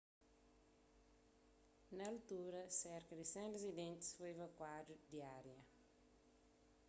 na altura serka di 100 rizidentis foi evakuadu di ária